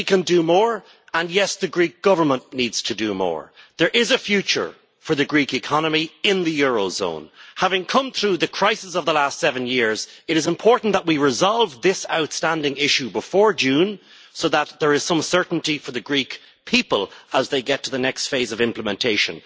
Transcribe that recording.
Yes, we can do more, and yes, the Greek Government needs to do more. There is a future for the Greek economy in the eurozone. Having come through the crisis of the last seven years, it is important that we resolve this outstanding issue before June so that there is some certainty for the Greek people as they come to the next phase of implementation.